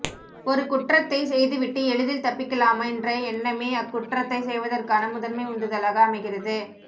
ஒருகுற்றத்தைச்செய்துவிட்டு எளிதில் தப்பிக்கலாமென்ற எண்ணமே அக்குற்றத்தை செய்வதற்கான முதன்மை உந்துதலாக அமைகிறது